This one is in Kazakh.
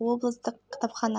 клубын ашып ол